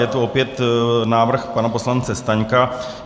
Je to opět návrh pana poslance Staňka.